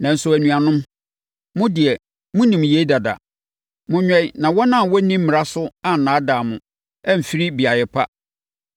Nanso anuanom, mo deɛ monim yei dada. Monwɛn na wɔn a wɔnni mmara so annaadaa mo amfiri beaeɛ pa.